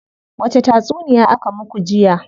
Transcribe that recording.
Wace tatsuniya aka muku jiya?